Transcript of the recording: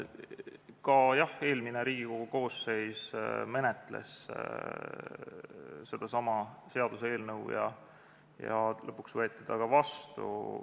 Ka eelmine Riigikogu koosseis menetles sedasama seaduseelnõu ja lõpuks võeti see ka vastu.